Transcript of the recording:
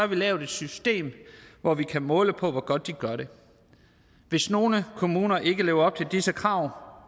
vi lavet et system hvor vi kan måle på hvor godt de gør det hvis nogle kommuner ikke lever op til disse krav